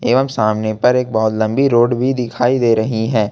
एवं सामने पर एक बहोत लंबी रोड भी दिखाई दे रही हैं।